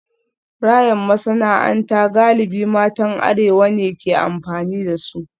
Rayon masana'anta galibi matan arewa ne ke amfani da su